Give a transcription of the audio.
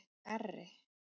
Garri